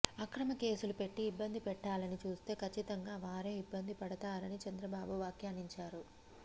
అక్రమ కేసులు పెట్టి ఇబ్బంది పెట్టాలని చూస్తే కచ్చితంగా వారే ఇబ్బంది పడతారని చంద్రబాబు వ్యాఖ్యానించారు